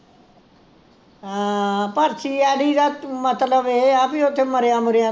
ਹਾਂ ਪਰ CID ਦਾ ਮਤਲਬ ਇਹ ਆ ਬਈ ਓਥੇ ਮਰਿਆ ਮੁਰਿਆ ਦਾ